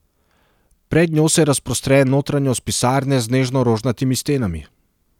Pred njo se razprostre notranjost pisarne z nežno rožnatimi stenami.